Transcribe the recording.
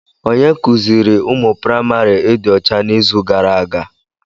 Onye kuziiri ụmụ praịmarị ịdị ọcha n'izu gara aga?